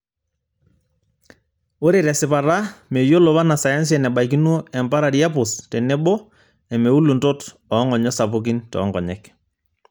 Ore tesipata, meyiolo wanasayansi enebaikino empararia pus tenebo emeuluntot oo ngonyo sapuki toonkonyek.